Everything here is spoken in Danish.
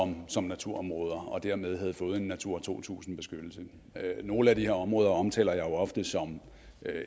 som naturområder og dermed havde fået en natura to tusind beskyttelse nogle af de her områder omtaler jeg jo ofte som